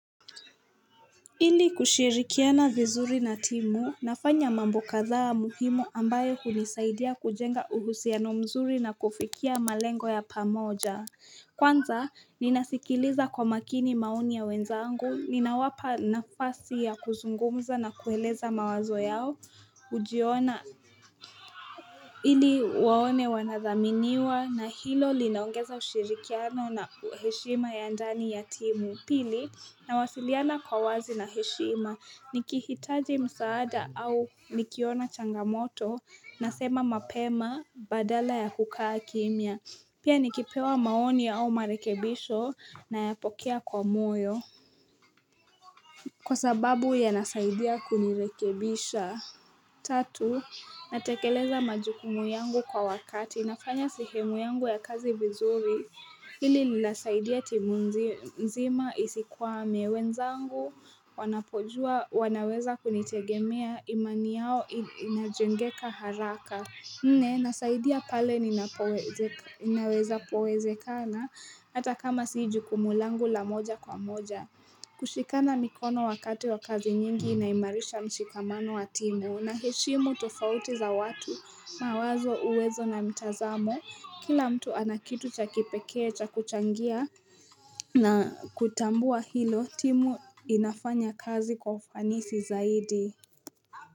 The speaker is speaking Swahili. Ili kushirikiana vizuri na timu nafanya mambo kadhaa muhimu ambayo hunisaidia kujenga uhusiano mzuri na kufikia malengo ya pamoja Kwanza ninasikiliza kwa makini maoni ya wenzangu ninawapa nafasi ya kuzungumza na kueleza mawazo yao ujiona ili waone wanathaminiwa na hilo linaongeza ushirikiano na heshima ya ndani ya timu pili na wasiliana kwa wazi na heshima nikihitaji msaada au nikiona changamoto na sema mapema badala ya kukaa kimia Pia nikipewa maoni ya au marekebisho na ya pokea kwa moyo Kwa sababu ya nasaidia kunirekebisha Tatu, natekeleza majukumu yangu kwa wakati. Inafanya sehemu yangu ya kazi vizuri. Hili linasaidia timu nzima isikwa mewenzangu. Wanapojua, wanaweza kunitegemea. Imani yao inajengeka haraka. Nne nasaidia pale ninaweza poweze kana hata kama siju kumulangu la moja kwa moja. Kushikana mikono wakati wa kazi nyingi inaimarisha mshikamano wa timu. Unaheshimu tofauti za watu mawazo uwezo na mtazamo. Kila mtu anakitu cha kipekee cha kuchangia. Na kutambua hilo timu inafanya kazi kwa ufanisi zaidi.